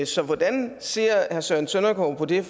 så hvordan ser herre søren søndergaard på det